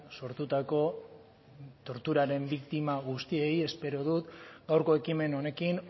sortutako torturaren biktima guztiei espero dut gaurko ekimen honekin